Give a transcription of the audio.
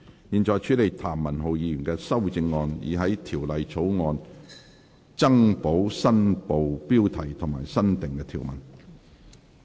現在處理譚文豪議員的修正案，以在條例草案增補新部標題及新訂條文。